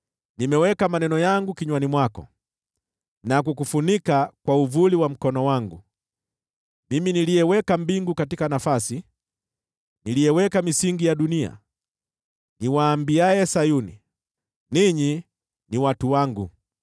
Nimeweka maneno yangu kinywani mwako na kukufunika kwa uvuli wa mkono wangu: Mimi niliyeweka mbingu mahali pake, niliyeweka misingi ya dunia, niwaambiaye Sayuni, ‘Ninyi ni watu wangu.’ ”